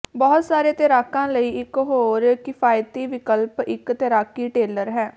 ਬਹੁਤ ਸਾਰੇ ਤੈਰਾਕਾਂ ਲਈ ਇੱਕ ਹੋਰ ਕਿਫਾਇਤੀ ਵਿਕਲਪ ਇੱਕ ਤੈਰਾਕੀ ਟੇਲਰ ਹੈ